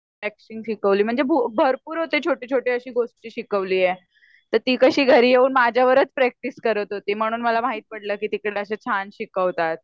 Waxing शिकवली म्हणजे भरपूर अशे छोटे छोटे गोष्टी शिकवलीये तर ती घरी येऊन माझ्या वरच प्रक्टीस करत होती म्हणून मला माहित पडल की तिकडे असं छान शिकवतात.